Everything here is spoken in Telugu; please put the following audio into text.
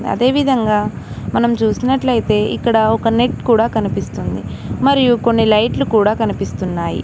అదేవిధంగా మనం చూస్తున్నట్లు అయితే ఇక్కడ ఒక నెట్ కూడా కనిపిస్తుంది మరియు కొన్ని లైట్లు కూడా కనిపిస్తున్నాయి.